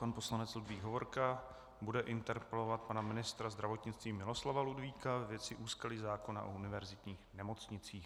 Pan poslanec Ludvík Hovorka bude interpelovat pana ministra zdravotnictví Miloslava Ludvíka ve věci úskalí zákona o univerzitních nemocnicích.